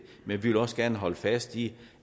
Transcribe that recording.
men vi vil også gerne holde fast i